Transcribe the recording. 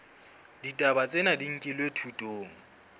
ditaba tsena di nkilwe thutong